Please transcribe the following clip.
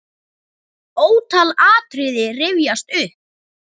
Ótal atriði rifjast upp.